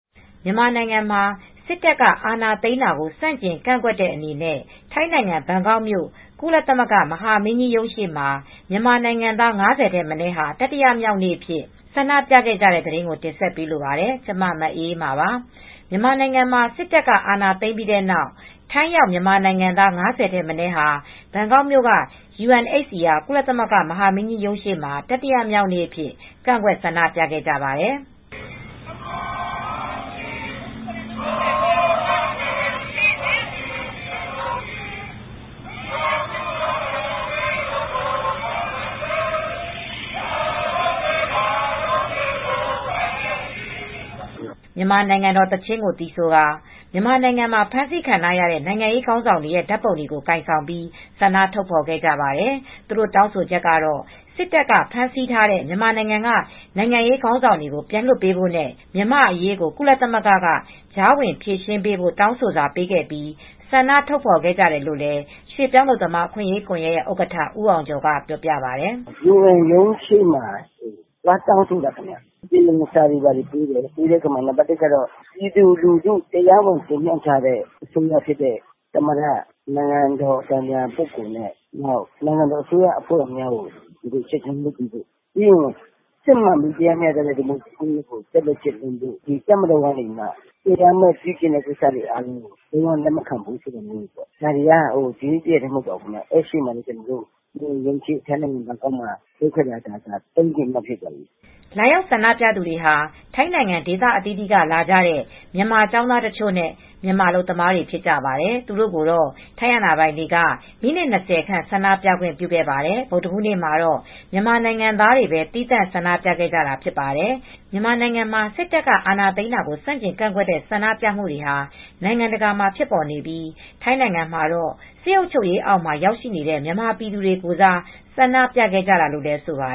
မြန်မာနိုင်ငံမှာစစ်တပ်ကအာဏာသိမ်းတာကိုဆန့်ကျင်ကန့်ကွက်တဲ့အနေနဲ့ ထိုင်းနိုင်ငံဘန်ကောက်မြို့ကုလသမဂ္ဂမဟာမင်းကြီးရုံးရှေ့မှာ မြန်မာနိုင်ငံသား ၅၀ ထက်မနည်းဟာ တတိယမြောက်နေ့အဖြစ် ဆန္ဒပြကြတဲ့သတင်းကို မအေးအေးမာ တင်ဆက်ပေးမှာပါ။ မြန်မာနိုင်ငံမှာစစ်တပ်က အာဏာသိမ်းပြီးတဲ့နောက် ထိုင်းရောက်မြန်မာနိုင်ငံသား ၅၀ ထက်မနည်းဟာ ဘန်ကောက်မြို့က UNHCR ကုလသမဂ္ဂမဟာမင်းကြီးရုံး ရှေ့မှာ တတိယမြောက်နေ့အဖြစ် ကန့်ကွက်ဆန္ဒပြခဲ့ကြပါတယ်။ မြန်မာနိုင်ငံတော်သီးချင်းကိုသီဆိုကာ မြန်မာနိုင်ငံမှာဖမ်းဆီးခံထားရတဲ့ နိုင်ငံရေးခေါင်းဆောင် တွေရဲ့ဓါတ်ပုံတွေကို ကိုင်ဆောင်ပြီး ဆန္ဒထုတ်ဖော်ခဲ့ပါတယ်။ သူတို့တောင်းဆိုချက်ကတော့ စစ်တပ်က ဖမ်းဆီး ထားတဲ့မြန်မာနိုင်ငံက နိုင်ငံရေးခေါင်းဆောင်တွေကိုပြန်လွတ်ပေးဖို့ နဲ့ မြန်မာ့အရေးကို ကုလသမဂ္ဂက ကြားဝင်ဖြေရှင်းပေးဖို့ တောင်းဆိုစာပေးခဲ့ပြီး ဆန္ဒထုတ်ဖော်ခဲ့ကြတယ်လို့ရွှေပြောင်းအလုပ်သမားအခွင့်ရေးကွန်ယက်ရဲ့ဥက္ကဌ ဦးအောင်ကျော်က ပြောပြပါတယ်။ “UNHCR ရုံးရှေ့မှာ သွားရောက်တောင်းဆိုကြတယ် ပြီးတော့စာတွေပေးတယ်။ ပြည်သူလူထုက တရားဝင်တင်မြောက်ထားတဲ့ သမ္မတအစိုးရနဲ့ နိုင်ငံတော်အတိုင်ပင်ခံပုဂ္ဂိုလ်နဲ့ အစိုးရအဖွဲ့ဝင်တွေကို ဖမ်းဆီးထားတာပြန်လွှတ်ပေးဖို့ စစ်မှန်တဲ့ ဒီမိုကရေစီစနစ်ကိုကျင့်သုံးပေးဖို့ တပ်မတော်က တရားမဲ့ ပြုကျင့်မူတွေကိုလုံး၀ လက်မခံဘူးဆိုတာတွေပါ။ ဒါက ဒီနေ့ တရက်ထဲမှာ မဟုတ်ပါဘူး ထိုင်းနိုင်ငံဘန်ကောက်မြို့UN ရုံးရှေ့မှာဆန္ဒပြတာ ၃ရက်ရှိသွားပါပြီ” လာရောက်ဆန္ဒပြသူတွေဟာ ထိုင်းနိုင်ငံ ဒေသအသီးသီးက လာကြတဲ့ မြန်မာကျောင်းသားတချို့နဲ့ မြန်မာအလုပ်သမားတွေဖြစ်ကြပါတယ်။ သူတို့ကိုတော့ ထိုင်းအာဏာပိုင်တွေကကိုမိနစ် ၂၀ခန့် ဆန္ဒပြခွင့်ပြုခဲ့ပါတယ်။ ဗုဒ္ဓဟူးနေ့မှာ မြန်မာနိုင်ငံသားတွေပဲသီးသန့်ဆန္ဒပြခဲ့ကြတာဖြစ်ပါတယ်။ မြန်မာနိုင်ငံမှာစစ်တပ်က အာဏာသိမ်းတာကို ဆန့်ကျင်ကန့်ကွက်တဲ့ ဆန္ဒပြမူတွေဟာ နိုင်ငံတကာမှာဖြစ်ပေါ်နေပြီး ထိုင်းနိုင်ငံမှာတော့ စစ်အုပ်ချုပ်ရေးအောက်မှာ ရောက်နေတဲ့မြန်မာပြည်သူတွေကိုယ်စား ဆန္ဒပြခဲ့ကြတာလို့ ဆိုပါ